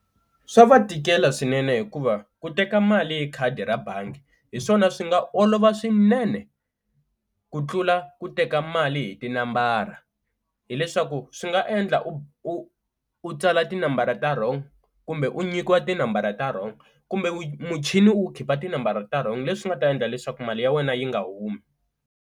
Swa va tikela swinene hikuva ku teka mali hi khadi ra bangi hi swona swi nga olova swinene ku tlula ku teka mali hi tinambara, hileswaku swi nga endla u u tsala tinambara ta wrong kumbe u nyikiwa tinambara ta wrong kumbe mu muchini wu khipa tinambara ta wrong, leswi nga ta endla leswaku mali ya wena yi nga humi.